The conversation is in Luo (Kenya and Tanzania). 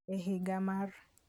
E higa mar